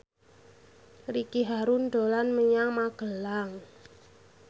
Ricky Harun dolan menyang Magelang